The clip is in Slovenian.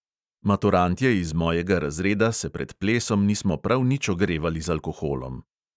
Maturantje iz mojega razreda se pred plesom nismo prav nič ogrevali z alkoholom.